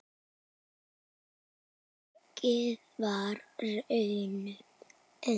Því miður varð raunin önnur.